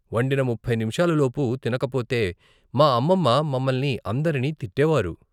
వండిన ముప్పై నిముషాలు లోపు తినకపోతే మా అమ్మమ్మ మమల్ని అందరిని తిట్టేవారు.